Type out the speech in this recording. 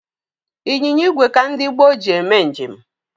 Ịnyịnya igwe ka ndị gboo ji eme njem.